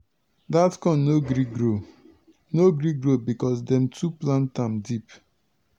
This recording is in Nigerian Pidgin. dat corn no gree grow no gree grow because dem too plant am deep.